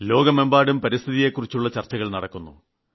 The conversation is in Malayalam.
ലോകമെമ്പാടും പരിസ്ഥിതിയെക്കുറിച്ചുള്ള ചർച്ചകൾ നടക്കുന്നു